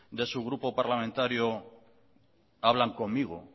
de su grupo parlamentario hablan conmigo